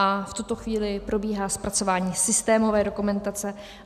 A v tuto chvíli probíhá zpracování systémové dokumentace.